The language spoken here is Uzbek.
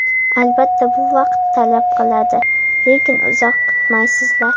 Albatta bu vaqt talab qiladi, lekin uzoq kutmaysizlar.